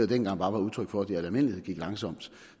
dengang bare var udtryk for at det i al almindelighed gik langsomt